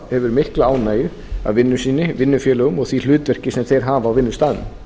hefur mikla ánægju af vinnu sinni vinnufélögum og því hlutverki sem þeir hafa á vinnustaðnum